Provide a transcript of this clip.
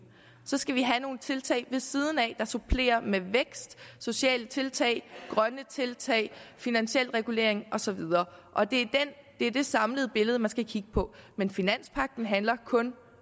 så skal vi have nogle tiltag ved siden af der supplerer med vækst sociale tiltag grønne tiltag finansiel regulering og så videre og det er det samlede billede man skal kigge på men finanspagten handler kun